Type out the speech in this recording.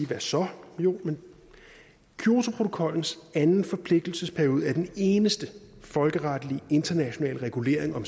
hvad så jo kyotoprotokollens anden forpligtelsesperiode er den eneste folkeretlige internationale regulering om